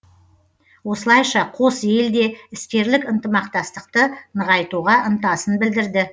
осылайша қос ел де іскерлік ынтымақтастықты нығайтуға ынтасын білдірді